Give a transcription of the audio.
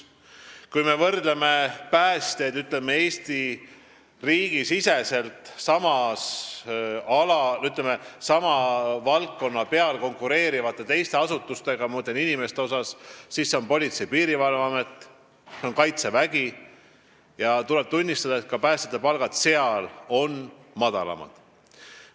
Kui me võrdleme päästjate palka, ütleme, palkadega Eesti riigi sama valdkonna teistes asutustes, ma mõtlen Politsei- ja Piirivalveametit ja Kaitseväge, siis tuleb tunnistada, et ka selles võrdluses on päästjate palgad madalamad.